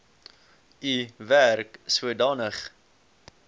u werk sodanig